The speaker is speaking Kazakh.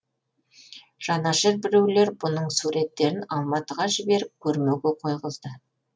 жанашыр біреулер бұның суреттерін алматыға жіберіп көрмеге қойғызды